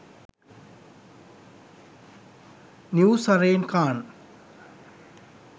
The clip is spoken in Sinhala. new zarine khan